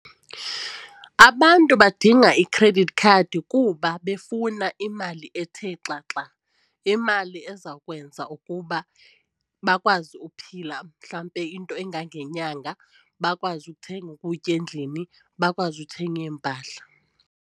Abantu badinga i-credit card kuba befuna imali ethe xaxa. Imali eza kwenza ukuba bakwazi uphila mhlambe into engangenyanga, bakwazi ukuthenga ukutya endlini, bakwazi uthenga iimpahla.